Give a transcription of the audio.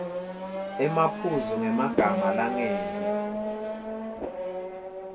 emaphuzu ngemagama langengci